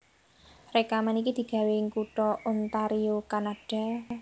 Rèkaman iki digawé ing kutha Ontario Kanada